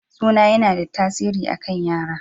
Suna yana da tasiri a kan yara.